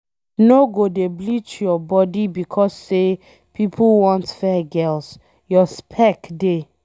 No go dey bleach your body becos say pipo want fair girls, your spec dey